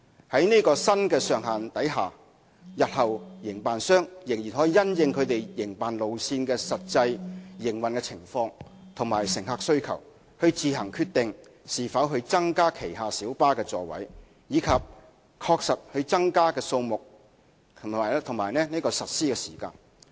在這新的上限下，營辦商日後可因應其營辦路線的實際營運情況和乘客需求，自行決定是否增加旗下小巴的座位，以及確實增加的座位數目和實施時間。